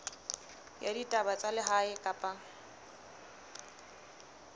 ya ditaba tsa lehae kapa